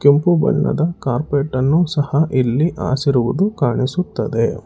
ಕೆಂಪು ಬಣ್ಣದ ಕಾರ್ಪೆಟ್ ಅನ್ನು ಸಹ ಇಲ್ಲಿ ಹಾಸಿರುವುದು ಕಾಣಿಸುತ್ತದೆ.